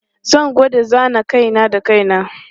Zan gwada zana kai na da kai na.